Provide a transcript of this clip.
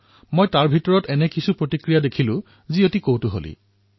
মই তাৰে কিছুমান প্ৰতিক্ৰিয়া প্ৰত্যক্ষ কৰিছিলো যি অতিশয় মনোৰম